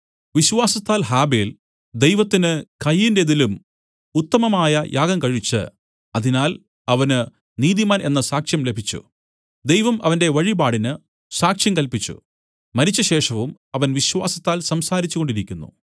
വിശ്വാസത്താൽ ഹാബെൽ ദൈവത്തിന് കയീന്റേതിലും ഉത്തമമായ യാഗം കഴിച്ച് അതിനാൽ അവന് നീതിമാൻ എന്ന സാക്ഷ്യം ലഭിച്ചു ദൈവം അവന്റെ വഴിപാടിന് സാക്ഷ്യം കല്പിച്ചു മരിച്ചശേഷവും അവൻ വിശ്വാസത്താൽ സംസാരിച്ചുകൊണ്ടിരിക്കുന്നു